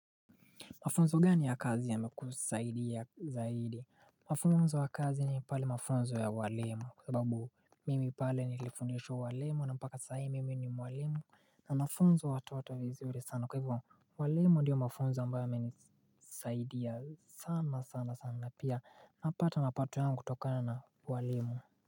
Mafunzo gani ya kazi yamekusaidia zaidi? Mafunzo wa kazi ni pale mafunzo ya ualimu, kwa sababu mimi pale nilifundishwa ualimu na mpaka sahi mimi ni mwalimu, na nafunza watoto vizuri sana. Kwa hivyo, ualimu ndio mafunzo ambayo yamenisaidia sana sana, na pia napata mapato yangu kutokana na ualimu.